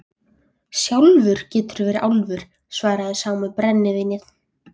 Sjálfur geturðu verið álfur, svaraði sá með brennivínið.